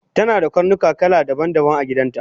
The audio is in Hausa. tanada karnuka kala daban daban agidanta